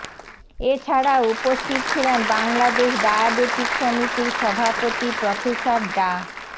এ ছাড়াও উপস্থিত ছিলেন বাংলাদেশ ডায়াবেটিক সমিতির সভাপতি প্রফেসর ডা